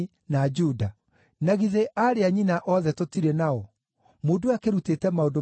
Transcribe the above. Na githĩ aarĩ a nyina othe tũtirĩ nao? Mũndũ ũyũ akĩrutĩte maũndũ maya mothe kũ?”